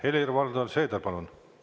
Helir-Valdor Seeder, palun!